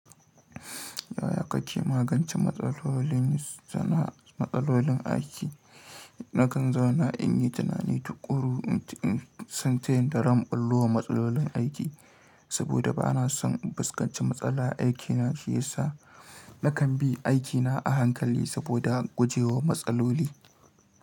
Yaya kake magance matsalolin zana matsalolin aiki? Nakan zauna in yi tunani tukuru in san tayin da zan ɓullo wa matsalolin aiki, saboda ba na son in fuskanci matsala a aikina shi yasa na kan bi aikina a hankali saboda guje wa matsaloli.